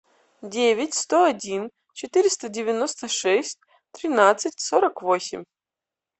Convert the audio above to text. девять сто один четыреста девяносто шесть тринадцать сорок восемь